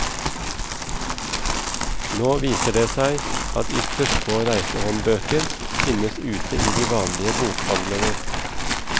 Nå viser det seg at ytterst få reisehåndbøker finnes ute i de vanlige bokhandlene.